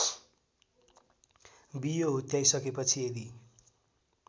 बियो हुत्याइसकेपछि यदि